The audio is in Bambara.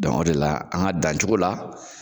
o de la an ka dan cogo la,